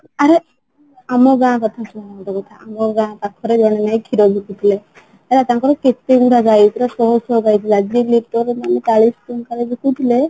ଆରେ ଆମ ଗାଁ କଥା ଶୁଣ ଗୋଟେ କଥା ଆମ ଗାଁ ପାଖରେ ଜଣେ ନାଇଁ କ୍ଷୀର ବିକୁଥିଲେ ହେଲା ତାଙ୍କର କେତେ ଗୁଡା ଗାଈ ପୁରା ଶହ ଶହ ଗାଈ ଥିଲା ଯିଏ ବିକୁଥିଲେ